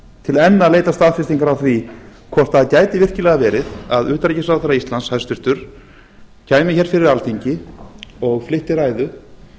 til enn að leita staðfestingar á því hvort það gæti virkilega verið að hæstvirtur utanríkisráðherra íslands kæmi fyrir alþingi og flytti ræðu